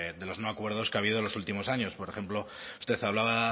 de los no acuerdos que ha habido en los últimos años por ejemplo usted hablaba